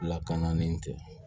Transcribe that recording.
Lakana ni tɛ